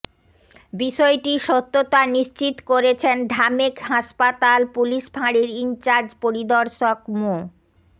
বিষয়টির সত্যতা নিশ্চিত করেছেন ঢামেক হাসপাতাল পুলিশ ফাঁড়ির ইনচার্জ পরিদর্শক মো